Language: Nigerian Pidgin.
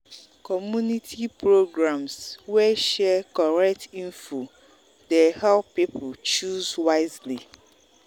community programs wey share correct info dey help people choose wisely.